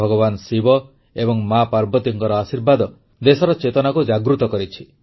ଭଗବାନ ଶିବ ଏବଂ ମା ପାର୍ବତୀଙ୍କର ଆଶୀର୍ବାଦ ଦେଶର ଚେତନାକୁ ଜାଗୃତ କରିଛି